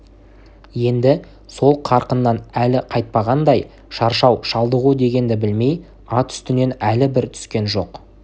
енді сол қарқыннан әлі қайтпағандай шаршау шалдығу дегенді білмей ат үстінен әлі бір түскен жоқ